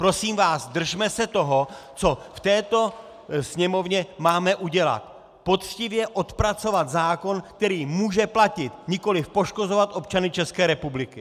Prosím vás, držme se toho, co v této Sněmovně máme udělat - poctivě odpracovat zákon, který může platit, nikoliv poškozovat občany České republiky!